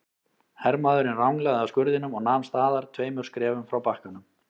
Hermaðurinn ranglaði að skurðinum og nam staðar tveimur skrefum frá bakkanum.